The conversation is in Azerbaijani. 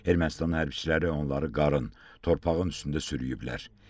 Ermənistan hərbiçiləri onları qarın, torpağın üstündə sürükləyiblər.